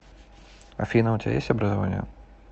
афина у тебя есть образование